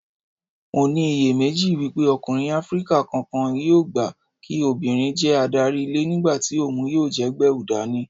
Mo ní iyèméjì wípé ọkùnrin Áfríkà kankan yóò gbà kí obìnrin jẹ́ adarí ilé nígbàtí òhun yóò jẹ́ gbẹ̀wùdání.